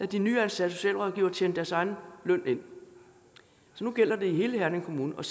de nyansatte socialrådgivere tjent deres egen løn ind nu gælder det i hele herning kommune og